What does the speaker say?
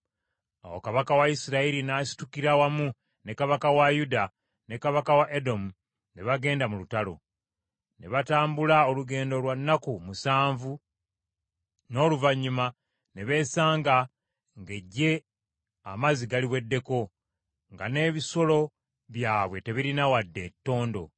Awo kabaka wa Isirayiri, n’asitukira wamu ne kabaka wa Yuda ne kabaka wa Edomu ne bagenda mu lutalo. Ne batambula olugendo lwa nnaku musanvu, n’oluvannyuma ne beesanga ng’eggye amazzi galiweddeko, nga n’ebisolo byabwe tebirina wadde ettondo.